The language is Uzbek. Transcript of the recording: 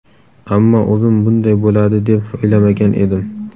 Ammo o‘zim bunday bo‘ladi deb o‘ylamagan edim”.